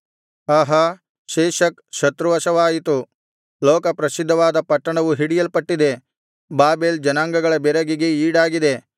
ಆಹಾ ಶೇಷಕ್ ಶತ್ರುವಶವಾಯಿತು ಲೋಕಪ್ರಸಿದ್ಧವಾದ ಪಟ್ಟಣವು ಹಿಡಿಯಲ್ಪಟ್ಟಿದೆ ಬಾಬೆಲ್ ಜನಾಂಗಗಳ ಬೆರಗಿಗೆ ಈಡಾಗಿದೆ